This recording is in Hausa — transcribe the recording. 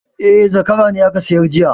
E, zakara ne aka sayar jiya